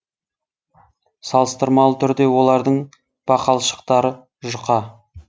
салыстырмалы түрде олардың бақалшықтары жұқа